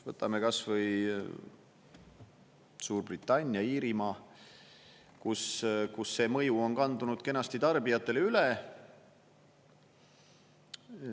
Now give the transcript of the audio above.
Võtame kas või Suurbritannia, Iirimaa, kus see mõju on kandunud kenasti tarbijatele üle.